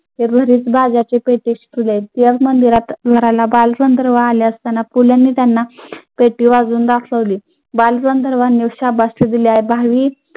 पु ल नी त्यांना पेटी वाजवून दाखवली बालगंधर्वांनी शाबासकी दिल्यावर भावी